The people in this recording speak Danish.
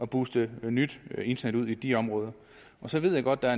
booste nyt internet ud i de områder så ved jeg godt at